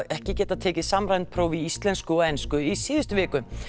ekki getað tekið samræmd próf í íslensku og ensku í síðustu viku